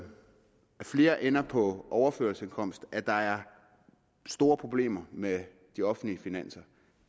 flere ender på overførselsindkomster og at der er store problemer med de offentlige finanser